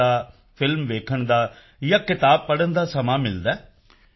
ਵੇਖਣ ਦਾ ਫ਼ਿਲਮ ਵੇਖਣ ਦਾ ਜਾਂ ਕਿਤਾਬ ਪੜ੍ਹਨ ਦਾ ਸਮਾਂ ਮਿਲਦਾ ਹੈ